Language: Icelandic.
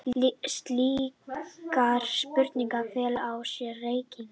Slíkar spurningar fela í sér reikning.